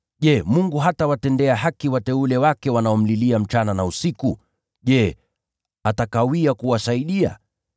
Je, Mungu hatawatendea haki wateule wake wanaomlilia usiku na mchana? Je, atakawia kuwasaidia?